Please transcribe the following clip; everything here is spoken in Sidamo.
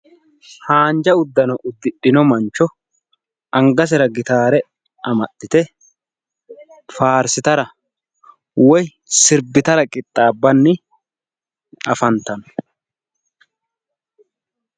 Haanjja uddano uddidhino mancho anggasera gitaare amaxxite faarssitara woyi sirbbitara qixaabbanni afanttanno.